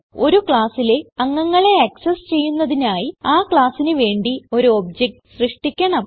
ഒരു ക്ലാസ്സിലെ അംഗങ്ങളെ ആക്സസ് ചെയ്യുന്നതിനായി ആ classന് വേണ്ടി ഒരു ഒബ്ജക്ട് സൃഷ്ടിക്കണം